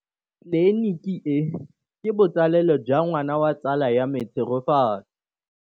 Tleliniki e, ke botsalêlô jwa ngwana wa tsala ya me Tshegofatso.